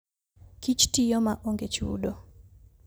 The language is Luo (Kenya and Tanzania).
Kich tiyo maonge chudo.